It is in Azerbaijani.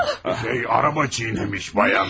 Bir şey, araba çiynəmiş, bayan.